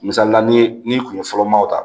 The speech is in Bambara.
Misalila ni n'i kun ye fɔlɔ maaw ta